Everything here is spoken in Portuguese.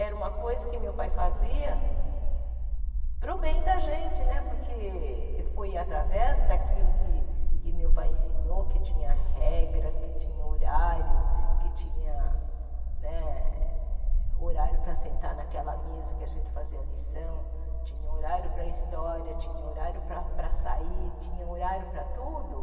Era uma coisa que meu pai fazia para o bem da gente né, porque foi através daquilo que meu pai ensinou, que tinha regras, que tinha horário, que tinha né horário para sentar naquela mesa que a gente fazia lição, tinha horário para história, tinha horário para para sair, tinha horário para tudo.